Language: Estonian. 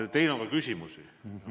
Aga teile on ka küsimusi.